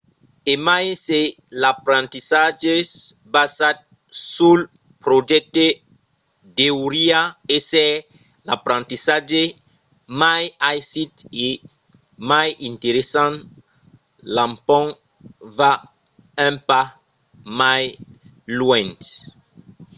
e mai se l’aprendissatge basat sul projècte deuriá èsser l’aprendissatge mai aisit e mai interessant l’empont va un pas mai luènh